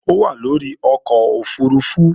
Ó wà lórí ọkọ̀ òfurufú